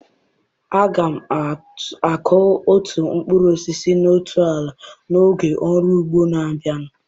Aga m akụ otu mkpụrụ osisi na otu ala n'oge ọrụ ugbo na-abịa.